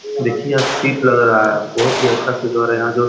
देखिये यहाँ शिप लग रहा है। बहुत अच्छा सिद्ध हो रहा है यहाँ जो --